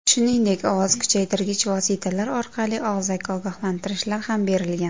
Shuningdek, ovoz kuchaytirgich vositalar orqali og‘zaki ogohlantirishlar ham berilgan.